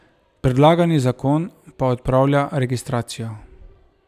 Predlagani zakon pa odpravlja registracijo.